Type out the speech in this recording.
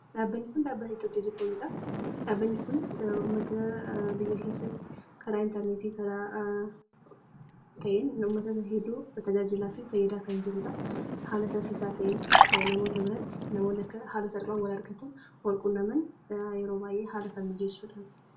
Dhaabbanni kun dhaabbata 'Itiyoo Telekoomii'dha. Dhaabbanni kunis namoota biyya keessatti karaa 'interneetii'n namoota hedduu tajaajilaa fi fayyadaa kan jiruudha. Haala saffisaa ta'een namoota biratti, namootni haala salphaa ta'een akka wal argatan, wal quunnaman yeroo baay'ee haala kan mijeessuudha.